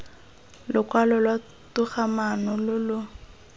lokwalo lwa togamaano lo lo